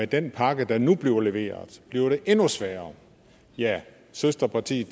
den pakke der nu bliver leveret bliver det endnu sværere ja søsterpartiet